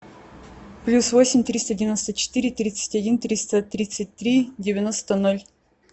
плюс восемь триста девяносто четыре тридцать один триста тридцать три девяносто ноль